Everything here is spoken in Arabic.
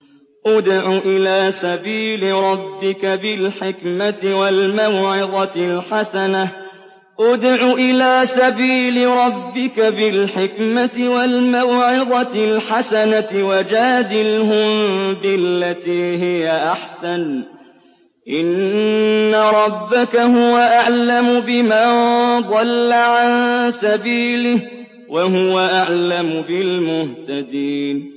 ادْعُ إِلَىٰ سَبِيلِ رَبِّكَ بِالْحِكْمَةِ وَالْمَوْعِظَةِ الْحَسَنَةِ ۖ وَجَادِلْهُم بِالَّتِي هِيَ أَحْسَنُ ۚ إِنَّ رَبَّكَ هُوَ أَعْلَمُ بِمَن ضَلَّ عَن سَبِيلِهِ ۖ وَهُوَ أَعْلَمُ بِالْمُهْتَدِينَ